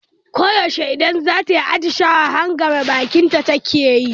Ko yaushe idan zata yi atishawa, hangame bakinta take yi.